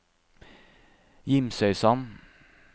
Gimsøysand